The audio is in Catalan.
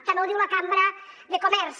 també ho diu la cambra de comerç